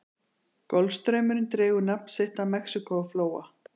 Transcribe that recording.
golfstraumurinn dregur nafn sitt af mexíkóflóa